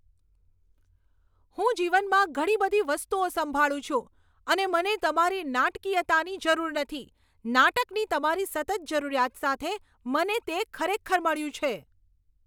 હું જીવનમાં ઘણી બધી વસ્તુઓ સંભાળું છું અને મને તમારી નાટકીયતાની જરૂર નથી. નાટકની તમારી સતત જરૂરિયાત સાથે મને તે ખરેખર મળ્યું છે.